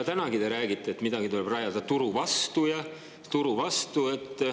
Tänagi te räägite, et midagi tuleb rajada turu vastu ja turu vastu.